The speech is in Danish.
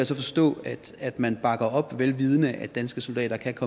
så forstå at man bakker op vel vidende at danske soldater kan